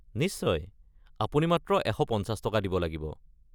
নিশ্চয়, আপুনি মাত্ৰ ১৫০ টকা দিব লাগিব।